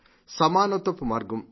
సమానత్వపు మార్గం